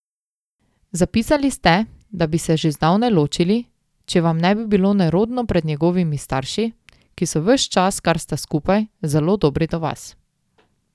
Zapisali ste, da bi se že zdavnaj ločili, če vam ne bi bilo nerodno pred njegovimi starši, ki so ves čas, kar sta skupaj, zelo dobri do vas.